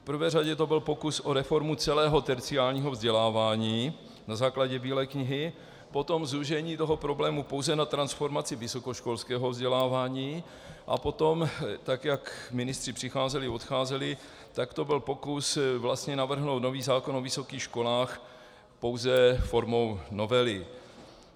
V prvé řadě to byl pokus o reformu celého terciárního vzdělávání na základě Bílé knihy, potom zúžení toho problému pouze na transformaci vysokoškolského vzdělávání a potom, tak jak ministři přicházeli, odcházeli, tak to byl pokus vlastně navrhnout nový zákon o vysokých školách pouze formou novely.